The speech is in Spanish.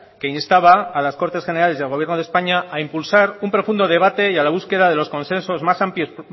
que instaba a las cortes generales y al gobierno de españa a impulsar un profundo debate y a la búsqueda de los consensos más amplios